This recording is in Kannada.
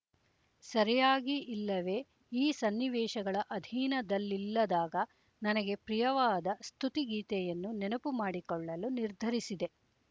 ಸರಿಯಾಗಿ ಇಲ್ಲವೆ ಈ ಸನ್ನಿವೇಶಗಳ ಅಧೀನದಲ್ಲಿಲ್ಲದಾಗ ನನಗೆ ಪ್ರಿಯವಾದ ಸ್ತುತಿಗೀತೆಯನ್ನು ನೆನಪು ಮಾಡಿಕೊಳ್ಳಲು ನಿರ್ಧರಿಸಿದೆ